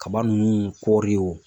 Kaba nunnu ,kɔri wo